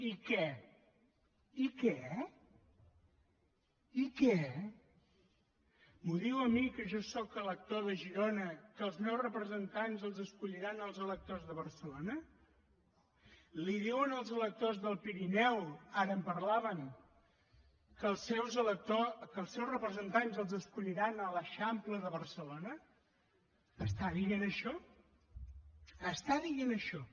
i què i què i què m’ho diu a mi que jo sóc elector de girona que els meus representants els escolliran els electors de barcelona els ho diu als electors del pirineu ara en parlaven que els seus representants els escolliran a l’eixample de barcelona està dient això està dient això